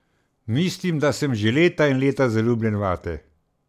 Mislim, da sem že leta in leta zaljubljen vate.